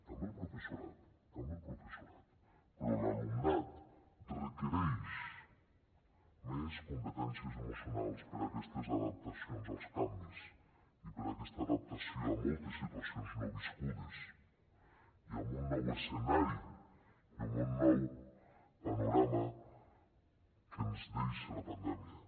també el professorat també el professorat però l’alumnat requereix més competències emocionals per aquestes adaptacions als canvis i per aquesta adaptació a moltes situacions no viscudes i amb un nou escenari i un nou panorama que ens deixa la pandèmia